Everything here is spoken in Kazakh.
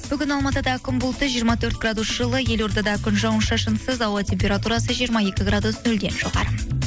бүгін алматыда күн бұлтты жиырма төрт градус жылы елордада күн жауын шашынсыз ауа температурасы жиырма екі градус нөлден жоғары